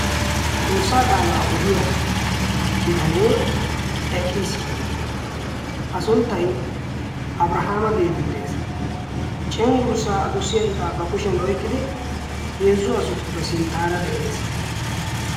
xoossaa qaalaa odiya bitanee eqqiis a sunttai abrahaama geetettees. cenggurssaa adussiya iqaa ba kushiyan oiqqidi heezzu asatuppe sinttaara de7ees.